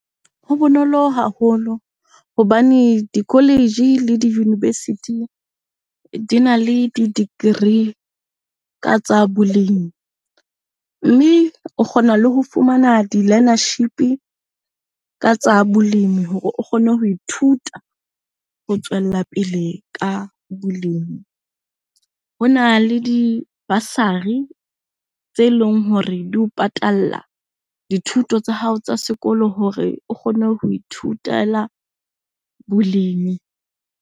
Ho bonolo haholo hobane di-college le di-university dina le di-degree tsa bolemi. Mme o kgona le ho fumana di-learnership-i ka tsa bolemi hore o kgone ho ithuta ho tswella pele ka bolemi. Hona le di-bursary tse leng hore di o patala dithuto tsa hao tsa sekolo hore o kgone ho ithutela bolemi.